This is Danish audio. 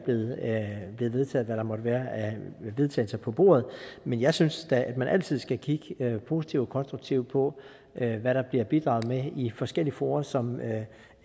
blevet vedtaget hvad der måtte være af vedtagelser på bordet men jeg synes da at man altid skal kigge positivt og konstruktivt på hvad der bliver bidraget med i forskellige fora som